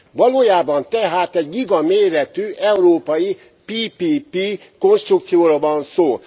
Valójában tehát egy gigaméretű európai PPP konstrukcióról van szó.